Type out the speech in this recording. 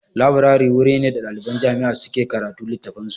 Leburare wuri ne da ɗaliban jami'a suke karatun littafan su